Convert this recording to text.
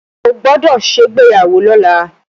O gbọ́dọ̀ ṣègbéyàwó lọ́la!